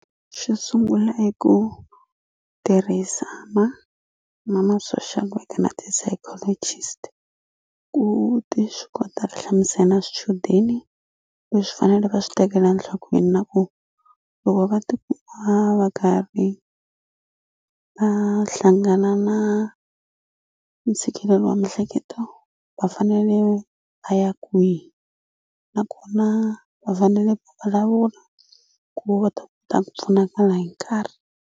Xo sungula i ku tirhisa ma ma ma social worker na ti-psychologist ku ti swi kota ri hlamusela na swichudeni leswi faneleke va swi tekela nhlokweni na ku loko va tikuma va karhi va hlangana na ntshikelelo wa mihleketo va fanele va ya kwihi nakona va fanele va vulavula ku va ta kota ku pfunakala hi nkarhi.